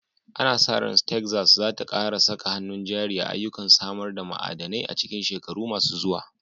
Ana sa ran Texas za ta ƙara saka hannun jari a ayyukan samar da ma'adanai a cikin shekaru masu zuwa.